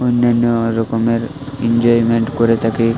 অন্যান্য রকমের ইনজয়মেন্ট করে থাকে।